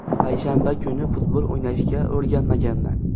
Payshanba kuni futbol o‘ynashga o‘rganmaganman.